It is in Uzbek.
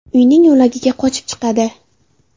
uyning yo‘lagiga qochib chiqadi.